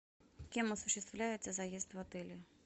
кем осуществляется заезд в отеле